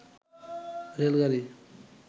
rail গাড়ি